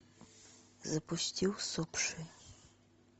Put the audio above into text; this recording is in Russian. запусти усопшие